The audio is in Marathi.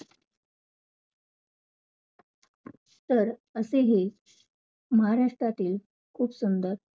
तर असे ही, महाराष्ट्रातील खूप सुंदर